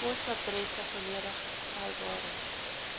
posadresse volledige vrywarings